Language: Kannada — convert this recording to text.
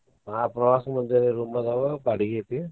ಆಹ್ ಪ್ರವಾಸ ಮಂದಿರ room ಅದಾವ ಬಾಡಗಿ ಐತಿ.